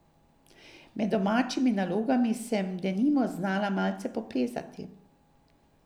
Med domačimi nalogami sem denimo znala malce poplezati.